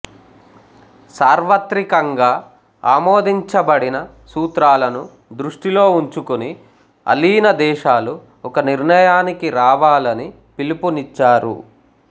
సార్వత్రికంగా ఆమోదించబడిన సూత్రాలను దృష్టిలో ఉంచుకుని అలీన దేశాలు ఒక నిర్ణయానికి రావాలని పిలుపునిచ్చారు